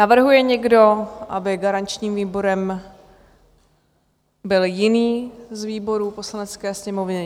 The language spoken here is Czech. Navrhuje někdo, aby garančním výborem byl jiný z výborů Poslanecké sněmovny?